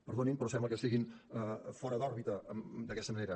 perdonin però sembla que estiguin fora d’òrbita d’aquesta manera